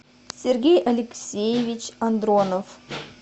сергей алексеевич андронов